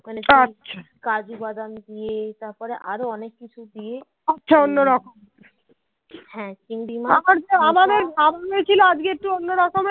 আজকে একটু অন্য রকম